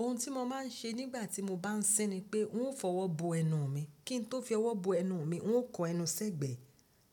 Ohun tí mo máa ń ṣe nígbà tí mo bá ń sín ni pé ń ó fi ọwọ́ bo ẹnu mi. Kí n tó fi ọwọ́ bo ẹnu mi, ń ó kọ ẹnu sẹ́gbẹ̀ẹ́